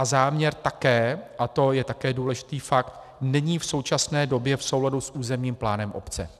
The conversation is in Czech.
A záměr také, a to je také důležitý fakt, není v současné době v souladu s územním plánem obce.